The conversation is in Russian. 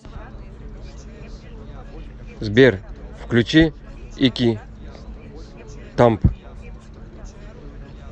сбер включи ики тамп